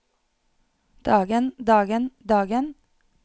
dagen dagen dagen